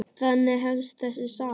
Þannig hefst þessi saga.